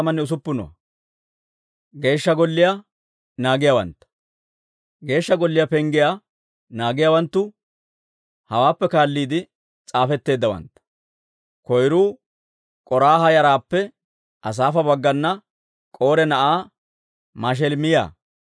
Geeshsha Golliyaa penggiyaa naagiyaawanttu hawaappe kaalliide s'aafetteeddawantta. Koyruu K'oraaha yaraappe Asaafa baggana K'ore na'aa Mashelemiyaa.